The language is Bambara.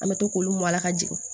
An bɛ to k'olu mɔn a la ka jigin